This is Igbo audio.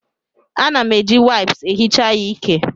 Ana m eji waịps ehicha ya ike.